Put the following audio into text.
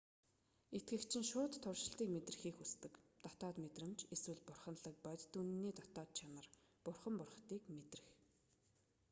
итгэгч нь шууд туршалтыг мэдрэхийг хүсдэг дотоод мэдрэмж эсвэл бурханлаг бодит үнэний дотоод чанар бурхан бурхадыг мэдрэх